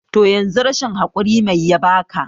toh yanzu rashin hakuri mai yabaka?